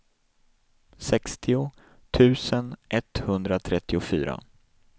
sextio tusen etthundratrettiofyra